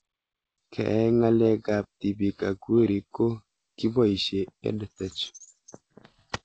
Keyai ng'alek ab tipik ak werik ko kipoishe EdTech